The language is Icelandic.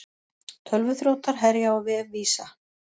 Tölvuþrjótar herja á vef Visa